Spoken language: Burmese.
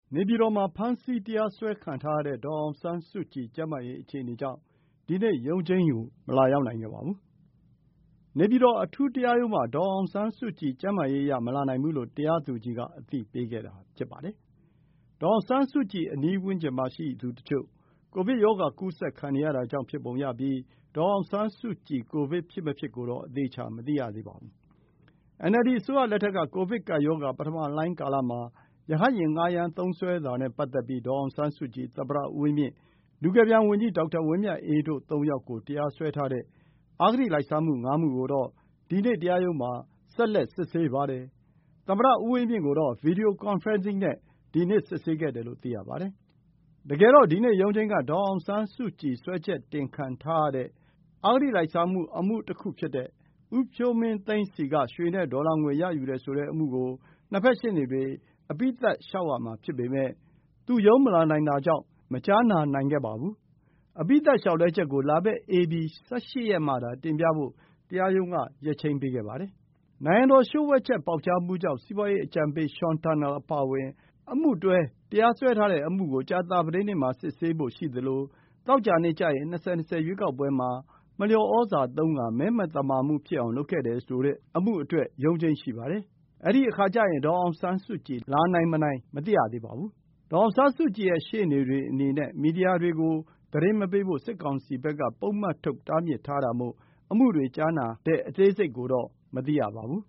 နေပြည်တော်မှာ ဖမ်းဆီးတရားစွဲခံထားရတဲ့ ဒေါ်အောင်ဆန်းစုကြည် ကျန်းမာရေးအခြေအနေကြောင့် ဒီနေ့ ရုံးချိန်းကို မလာရောက်နိုင်ခဲ့ပါဘူး။ နေပြည်တော် အထူးတရားရုံးမှာ ဒီနေ့ရှိတဲ့ ရုံးချိန်းကို ဒေါ်အောင်ဆန်းစုကြည် ကျန်းမာရေးအရ မလာနိုင်ဘူးလို့ တရားသူကြီးက အသိပေးတာဖြစ်ပါတယ်။ ဒေါ်အောင်ဆန်းစုကြည် အနီးဝန်းကျင်မှာရှိသူတချို့ ကိုဗစ်ရောဂါကူးစက်ခံနေရတာကြောင့်ဖြစ်ပုံရပြီး ဒေါ်အောင်ဆန်းစုကြည် ကိုဗစ် ဖြစ်မဖြစ် ဆိုတာတော့ အတိအကျ မသိရပါဘူး။ NLD အစိုးရလက်ထက်က ကိုဗစ်ကပ်ရောဂါ ပထမလှိုင်းကာလမှာ ရဟတ်ယာဉ် ငှားရမ်းသုံးစွဲတာနဲ့ပတ်သက်ပြီး ဒေါ်အောင်ဆန်းစုကြည်၊ သမ္မတဦးဝင်းမြင့်၊ လူကယ်ပြန် ဝန်ကြီး ဒေါက်တာဝင်းမြတ်အေးတို့ ၃ ယောက်ကို တရားစွဲထားတဲ့ အဂတိလိုက်စားမှု ၅ မှုကိုတော့ ဒီနေ့တရားရုံးမှာ ဆက်လက် စစ်ဆေးပါတယ်။ သမ္မတဦးဝင်းမြင့်ကိုတော့ Video conferencing နဲ့ဒီနေ့ စစ်ဆေးခဲ့တယ်လို့ သိရပါတယ်။ တကယ်တော့ ဒီနေ့ရုံးချိန်းက ဒေါ်အောင်ဆန်းစုကြည် စွဲချက်တင်ခံထားရတဲ့ အဂတိလိုက်စားမှုအမှုတခုဖြစ်တဲ့ ဦးဖြိုးမင်းသိန်းဆီက ရွှေနဲ့ဒေါ်လာငွေ ရယူတယ်ဆိုတဲ့အမှုကို ၂ ဘက်ရှေ့နေတွေ အပြီးသတ်လျှောက်ရမှာဖြစ်ပေမယ့် သူရုံးချိန်းမလာနိုင်တာကြောင့် မကြားနာနိုင်ခဲ့ပါဘူး။ အပြီးသတ်လျှောက်လဲချက်ကို လာမယ့် ဧပြီ ၁၈ ရက်မှသာ တင်ပြဖို့ တရားရုံးက ရက်ချိန်းပေးခဲ့ပါတယ်။ နိုင်ငံတော်လျှို့ဝှက်ချက်ပေါက်ကြားမှုကြောင့် စီးပွားရေးအကြံပေး Sean Turnell အပါအဝင် အမှုတွဲ တရားစွဲထားတဲ့ အမှုကို ကြာသပတေးနေ့မှာ စစ်ဆေးဖို့ရှိသလို သောကြာနေ့ကျရင် ၂၀၂၀ ရွေးကောက်ပွဲမှာ မလျော်သြဇာသုံးပြီး မဲမသမာမှုဖြစ်အောင် လုပ်ခဲ့တယ်လိုတဲ့ အမှုတွေအတွက် ရုံးချိန်းရှိပါတယ်။ အဲဒီအခါကျရင် ဒေါ်အောင်ဆန်းစုကြည် လာနိုင် မနိုင်ဆိုတာ မသိရနိုင်သေးပါဘူး။ ဒေါ်အောင်ဆန်းစုကြည်ရဲ့ ရှေ့နေတွေအနေနဲ့ မီဒီယာတွေကို သတင်းမပေးဖို့ စစ်ကောင်စီဘက်က ပုဒ်မထုတ် တားမြစ်ထားတာမို့ အမှုတွေကြားနာအကြောင်း အသေးစိတ်ကိုတော့ မသိရပါဘူး